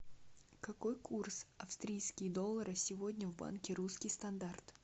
какой курс австрийские доллары сегодня в банке русский стандарт